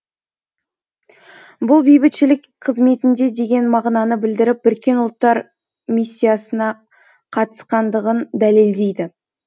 бұл бейбітшілік қызметінде деген мағынаны білдіріп біріккен ұлттар миссиясына қатысқандығын дәлелдейді